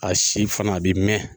A si fana a bɛ mɛn.